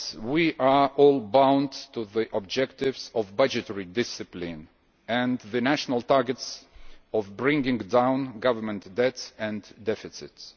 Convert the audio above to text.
But we are all bound by the objectives of budgetary discipline and the national targets of bringing down government debts and deficits.